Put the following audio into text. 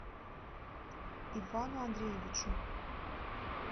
ивану андреевичу